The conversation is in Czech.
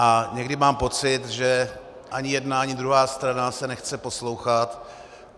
A někdy mám pocit, že ani jedna, ani druhá strana se nechce poslouchat.